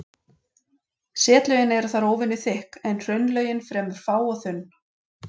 Setlögin eru þar óvenju þykk en hraunlögin fremur fá og þunn.